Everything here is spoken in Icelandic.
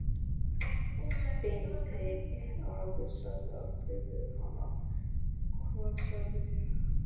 Beinteinn afi sagði aldrei við hana: Hvað sagði ég?